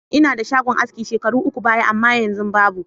Inadshagon aski shekaru uku baya amma yanzu babu.